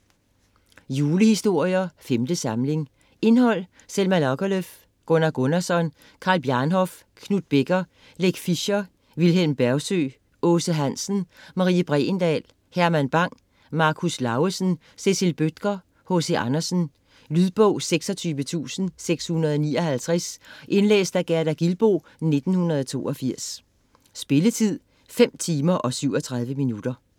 Julehistorier - 5. samling Indhold: Selma Lagerlöf, Gunnar Gunnarsson, Karl Bjarnhof, Knuth Becker, Leck Fischer, Vilhelm Bergsøe, Aase Hansen, Marie Bregendahl, Herman Bang, Marcus Lauesen, Cecil Bødker, H.C. Andersen. Lydbog 26659 Indlæst af Gerda Gilboe, 1982. Spilletid: 5 timer, 37 minutter.